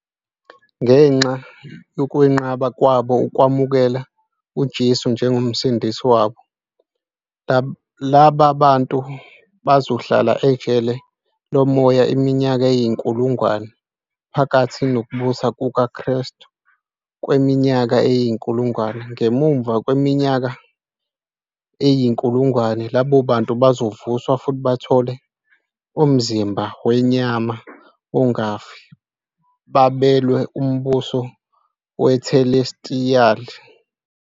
Ngenxa yokwenqaba kwabo ukwamukela uJesu njengoMsindisi wabo, laba bantu bazohlala ejele lomoya iminyaka eyinkulungwane phakathi nokubusa kukaKristu kweminyaka eyinkulungwane. Ngemuva kweminyaka eyi-1000, labo bantu bazovuswa futhi bathole umzimba wenyama ongafi babelwe umbuso wethelestiyali.